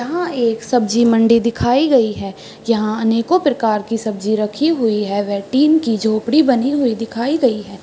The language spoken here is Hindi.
यहाँ एक सब्जी मंडी दिखाई गई है। यहा अनेको प्रकार की सब्जी रखी हुई हैं व टीन की झोपड़ी बनी हुई दिखाई गई है।